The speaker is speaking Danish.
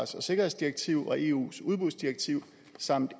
og sikkerhedsdirektiv og eus udbudsdirektiv samt